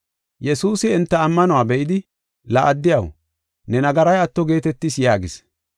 Yesuusi enta ammanuwa be7idi, “La addiyaw, ne nagaray atto geetetis” yaagis.